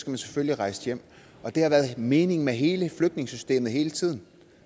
man selvfølgelig rejse hjem og det har været meningen med hele flygtningesystemet hele tiden